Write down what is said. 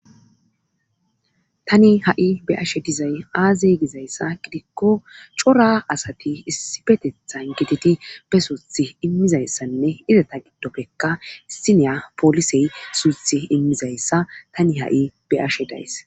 tani ha7i be'ashe dizay aazey gizayssa gidikko cora asati issi betethan gititi be suuthi immizayssanne izata giddoppekka issiniya polisey suyuth immizayssa tani ha7i be ashe days